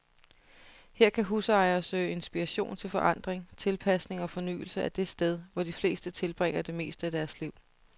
Her kan husejere søge inspiration til forandring, tilpasning og fornyelse af det sted, hvor de fleste tilbringer det meste af deres liv.